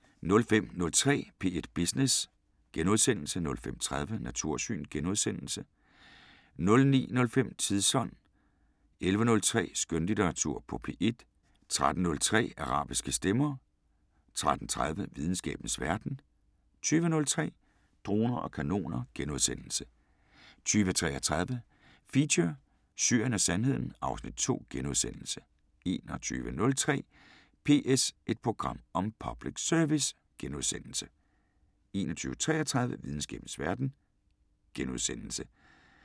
05:03: P1 Business * 05:30: Natursyn * 09:05: Tidsånd 11:03: Skønlitteratur på P1 13:03: Arabiske Stemmer 13:30: Videnskabens Verden 20:03: Droner og kanoner * 20:33: Feature: Syrien og Sandheden (Afs. 2)* 21:03: PS – et program om public service * 21:33: Videnskabens Verden *